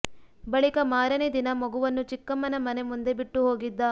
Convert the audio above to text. ಬಳಿಕ ಮಾರನೇ ದಿನ ಮಗುವನ್ನು ಚಿಕ್ಕಮ್ಮನ ಮನೆ ಮುಂದೆ ಬಿಟ್ಟು ಹೋಗಿದ್ದ